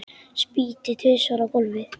Spýti tvisvar á gólfið.